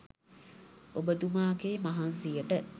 ඔබතුමාගේ මහන්සියට